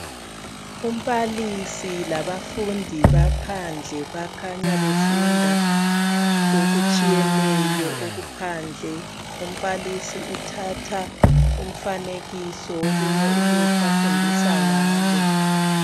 Umbalisi labafundi baphandle bakhanya befunda okutshiyeneyo okuphandle. Umbalisi uthatha umfanekiso wolunye ukuthi afundisa ngalo.